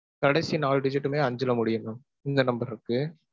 கடைசி நாலு digit டுமே அஞ்சுல முடியும் mam. இந்த number இருக்கு.